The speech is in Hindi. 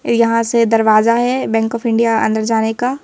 यहां से दरवाजा है बैंक ऑफ इंडिया अंदर जाने का।